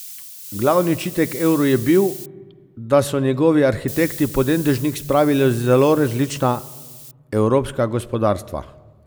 Glavni očitek evru je bil, da so njegovi arhitekti pod en dežnik spravili zelo različna evropska gospodarstva.